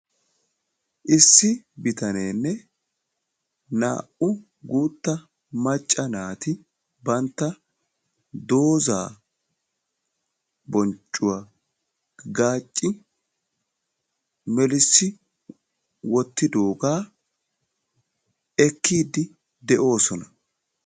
Issi bitaneenne naa"u guutta macca naati bantta doza bonccuwa gaacci melissi wottidoogaa ekkiiddi de'oosona.